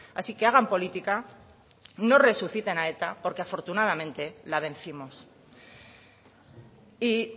así que hagan política no resuciten a eta porque afortunadamente la vencimos y